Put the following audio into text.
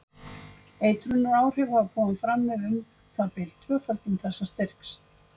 Eitrunaráhrif hafa komið fram við um það bil tvöföldun þessa styrks.